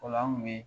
O la an kun be